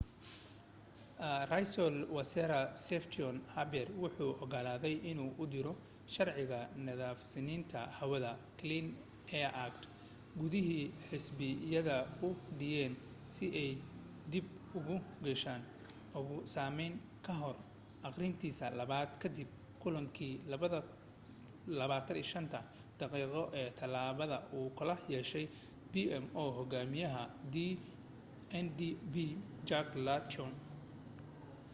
raiisel wasaare stephen harper wuxuu ogolaaday inuu u diro sharciga 'nadiifsanaanta hawada clean air act' gudi xisbiyada u dhanyihiin si ay dib u eegis ugu sameeyaan kahor aqrintiisa labaad kadib kulankii 25-ta daqiiqo ee talaadada uu kula yeeshay pmo hogaamiyaha ndp jack layton